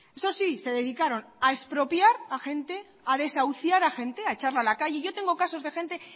eso sí se dedicaron a expropiar a gente a desahuciar a gente a echarla a la calle y yo tengo casos de gente